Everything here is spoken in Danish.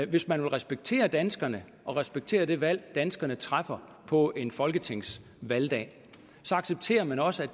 hvis man vil respektere danskerne og respektere det valg danskerne træffer på en folketingsvalgdag så accepterer man også at